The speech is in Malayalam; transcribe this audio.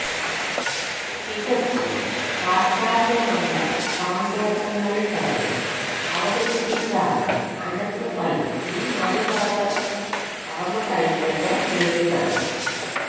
തികച്ചും പാശ്ചാത്യമായ സങ്കേതങ്ങളിൽത്തന്നെ അവതരിപ്പിച്ചാണ് അനന്ത് പൈ ഈ മറുലോക കടന്നുകയറ്റത്തെ നേരിട്ടത്